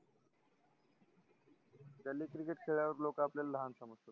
गल्ली cricket खेळ्यावर लोक आपल्याला लहान समजतात